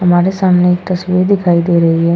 हमारे सामने एक तस्वीर दिखाई दे रही है --